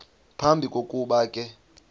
phambi kokuba ke